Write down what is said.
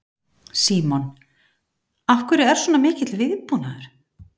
Símon: Af hverju er svona mikill viðbúnaður?